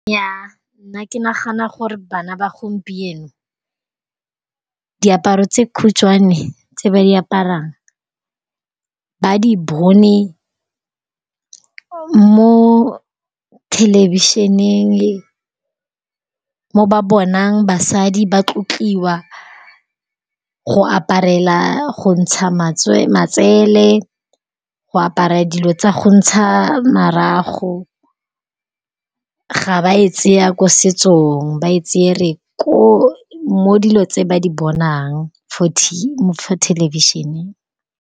Nnyaa nna ke nagana gore bana ba gompieno diaparo tse khutshwane tse ba di aparang ba di bone mo thelebišeneng le mo ba bonang basadi ba tlotliwa go aparela go ntsha matsele go apara dilo tsa go ntsha marago ga ba e tsaya ko setsong ba e tsere mo dilo tse ba di bonang for television-eng.